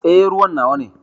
Eh, ruwan nawa ne.